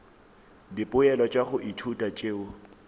dipoelo tša go ithuta tšeo